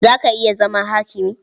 Za ka iya zama hakimi?